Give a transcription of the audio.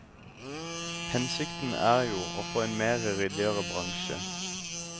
Hensikten er jo å få en mer ryddigere bransje.